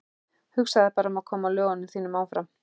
Hugsaðu bara um að koma lögunum þínum áfram.